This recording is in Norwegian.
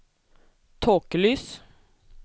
tåkelys